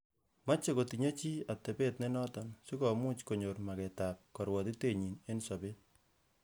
Moche kotinye chii atebet ne noton, si komuch konyor mageetab korwotitenyin en sobet.